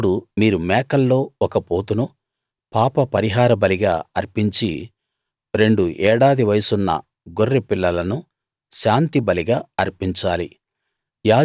అప్పుడు మీరు మేకల్లో ఒక పోతును పాపపరిహార బలిగా అర్పించి రెండు ఏడాది వయసున్న గొర్రెపిల్లలను శాంతి బలిగా అర్పించాలి